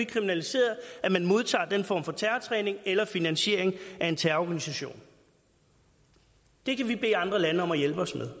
kriminaliseret at man modtager den form for terrortræning eller finansierer en terrororganisation det kan vi bede andre lande om at hjælpe os med